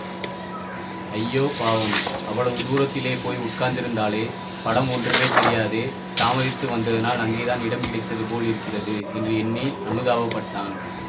ஐயோ பாவம் அவ்வளவு தூரத்திலே போய் உட்கார்ந்திருக்கிறாளே படம் ஒன்றுமே தெரியாதே தாமதித்து வந்ததனால் அங்கேதான் இடம் கிடைத்தது போல் இருக்கிறது என்று எண்ணி அநுதாபப்பட்டான்